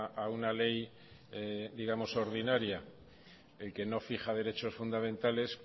a una ley digamos ordinaria el que no fija derechos fundamentales